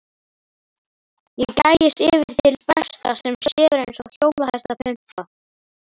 Ég gægist yfir til Berta sem sefur eins og hjólhestapumpa.